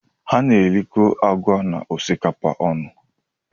A na-erikọ agwa na osikapa ọnụ